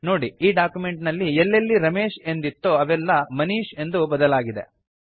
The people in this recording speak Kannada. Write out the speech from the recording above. ನೋಡಿ ಈ ಡಾಕ್ಯುಮೆಂಟ್ ನಲ್ಲಿ ಎಲ್ಲೆಲ್ಲಿ ರಮೇಶ್ ಎಂದಿತ್ತೋ ಅವೆಲ್ಲಾ ಮನೀಶ್ ಎಂದು ಬದಲಾಗಿದೆ